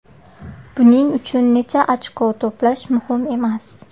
Buning uchun necha ochko to‘plash muhim emas.